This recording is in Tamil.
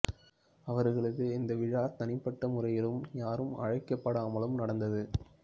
அவர்களது இந்த விழா தனிப்பட்ட முறையிலும் யாரும் அழைக்கப்படாமலும் நடந்தது